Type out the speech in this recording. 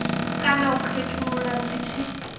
kana u khethulula zwi tshi